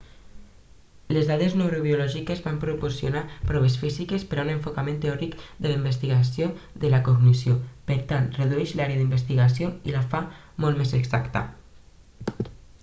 les dades neurobiològiques van proporcionar proves físiques per a un enfocament teòric de la investigació de la cognició per tant redueix l'àrea d'investigació i la fa molt més exacta